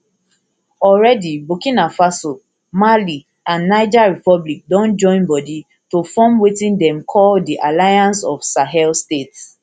already burkina faso mali and niger republic don join body to form wetin dem call di alliance of sahel states